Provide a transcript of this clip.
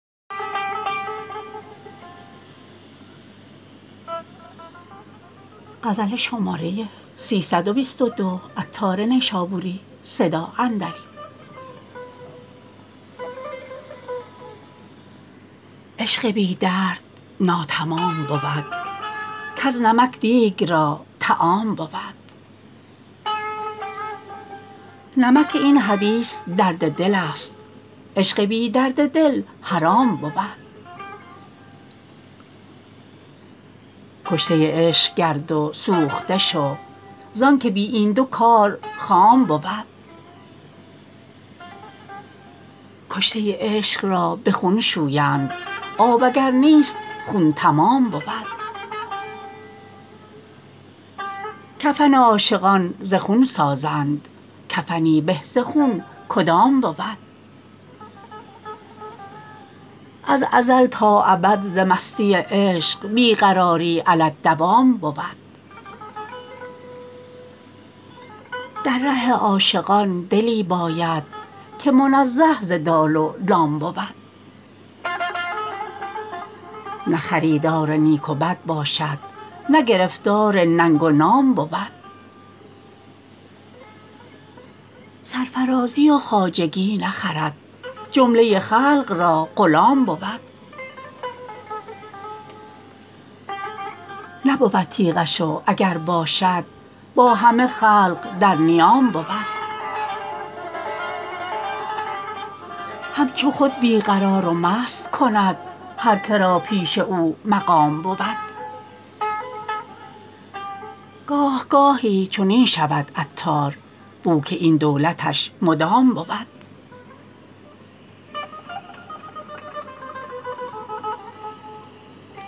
عشق بی درد ناتمام بود کز نمک دیگ را طعام بود نمک این حدیث درد دل است عشق بی درد دل حرام بود کشته عشق گرد و سوخته شو زانکه بی این دو کار خام بود کشته عشق را به خون شویند آب اگر نیست خون تمام بود کفن عاشقان ز خون سازند کفنی به ز خون کدام بود از ازل تا ابد ز مستی عشق بی قراری علی الدوام بود در ره عاشقان دلی باید که منزه ز دال و لام بود نه خریدار نیک و بد باشد نه گرفتار ننگ و نام بود سرفرازی و خواجگی نخرد جمله خلق را غلام بود نبود تیغش و اگر باشد با همه خلق در نیام بود همچو خود بی قرار و مست کند هر که را پیش او مقام بود گاه گاهی چنین شود عطار بو که این دولتش مدام بود